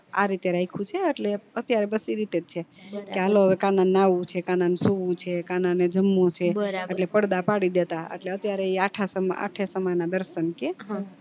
આરીતે રાયખું છે અટલે અત્યારે તો બસ ઈ રીતેજ છે કે હાલો હવે કાના ને આવું છે કાના ને સુવું છે કાના ને જમવું છે એટલે પડદા પડી દેતા એટલે એ અત્યારે આઠસન માં આઠે સમય ના દર્શન કે